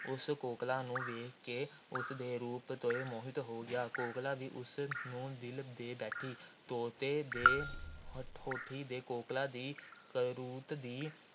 ਉਸ ਕੋਕਲਾਂ ਨੂੰ ਵੇਖ ਕੇ ਉਸ ਦੇ ਰੂਪ 'ਤੇ ਮੋਹਿਤ ਹੋ ਗਿਆ। ਕੋਕਲਾਂ ਵੀ ਉਸ ਨੂੰ ਦਿਲ ਦੇ ਬੈਠੀ। ਤੋਤੇ ਦੇ ਹੋਡੀ ਤੇ ਕੋਕਲਾਂ ਦੀ ਕਰਤੂਤ ਦੀ